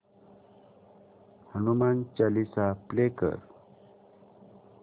Hanuman Chalisa play कर